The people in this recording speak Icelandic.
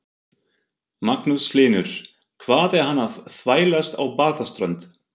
Magnús Hlynur: Hvað er hann að þvælast á Barðaströnd?